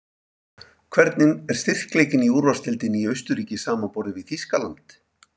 Hvernig er styrkleikinn á úrvalsdeildinni í Austurríki samanborið við Þýskaland?